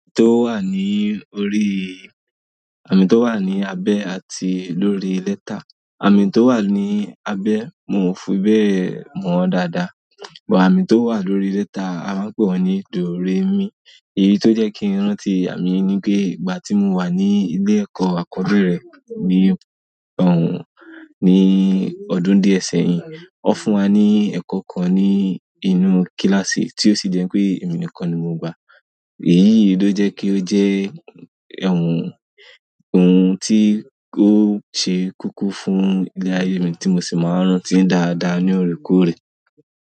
Àmì tó wà ní orí, àmì tó wà ní abẹ àti lórí lẹ́tà. Àmì tó wà ní abẹ mo fi bẹ́ẹ̀ mọ̀ ọ́n dáadáa, but àmì tó wà lórí lẹ́tà a máa ń pè wọ́n ní doremi. Èyí tó jẹ́ kí n rántí àmì ni pé ìgbà tí mo wà ní ilé ẹ̀kọ́ àkọ́bẹ̀rẹ̀ ní ọ̀un, ní ọdún díẹ̀ sẹ́yìn. Wọ́n fún wa ní ẹ̀kọ́ kan ní inú kíláàsì tí ó sì jẹ́ pé èmi nìkan ni mo gba. Èyí ló jẹ́ kí ó jẹ́ ohun, ohun tí ó ṣe koko fún ilé ayé mi tí mo sì máa ń rántí dáadáa ní oorekoore.